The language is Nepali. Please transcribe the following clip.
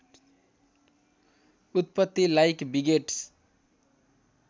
उत्पत्ति लाइक बिगेट्स